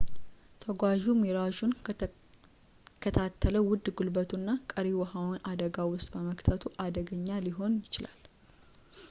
ተጓዡው ሚራዡን ከተከታተለ ውድ ጉልበቱን እና ቀሪ ውሃውን አደጋ ውስጥ በመክተት አደገኛ ሊሆን ይችላል